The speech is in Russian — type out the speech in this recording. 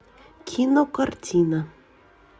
кинокартина